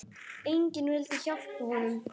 Enginn vildi hjálpa honum.